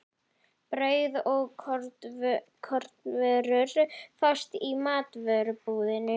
Brauð og kornvörur fást í matvörubúðinni.